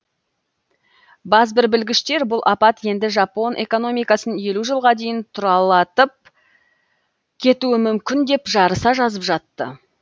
базбір білгіштер бұл апат енді жапон экономикасын елу жылға дейін тұралатып кетуі мүмкін деп жарыса жазып жатты